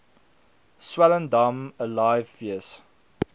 swellendam alive fees